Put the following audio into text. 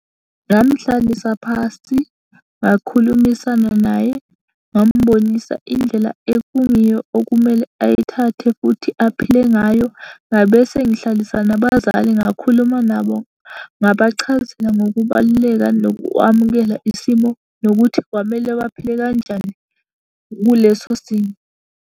Ngamhlalisa phasi, ngakhulumisana naye, ngamubonisa indlela ekungiyo okumele ayithathe futhi aphile ngayo. Ngabe sengihlalisa nabazali ngakhuluma nabo, ngabachazela ngokubaluleka nokwamukela isimo, nokuthi kwamele baphile kanjani kuleso simo.